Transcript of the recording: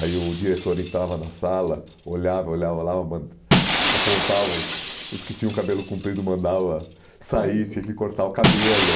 Aí o diretor entrava na sala, olhava, olhava lá, apontava os os que tinham o cabelo comprido, mandava sair, tinha que cortar o cabelo.